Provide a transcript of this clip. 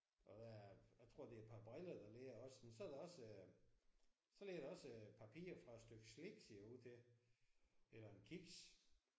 Og der er jeg tror det er et par briller der ligger også. Men så er der også så ligger der også papir fra et stykke slik ser det ud til eller en kiks